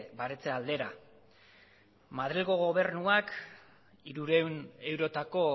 baretze aldera madrilgo gobernuak hirurehun eurotako